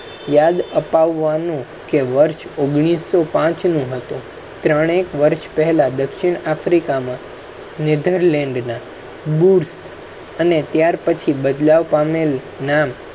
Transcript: યાદ અપાવવા નું કે વર્ષ ઓગણીસો પાંચ નો હતો. ત્રણેકવર્ષ પહેલાં દક્ષિણ africa માં netherland ના અને ત્યાર પછી બદલાવ પામેલ નામ